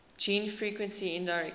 gene frequency indirectly